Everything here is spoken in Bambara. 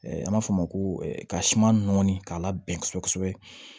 An b'a fɔ o ma ko ka siman nɔɔni k'a la bɛn kosɛbɛ kosɛbɛ